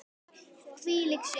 Hvílík sjón!